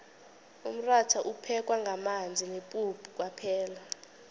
umratha uphekwa ngamanzi nepuphu kwaphela